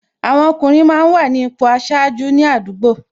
Àwọn ọkùnrin máa ń wà ní ipò aṣáájú ní àdúgbò